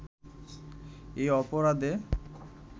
এই অপরাধে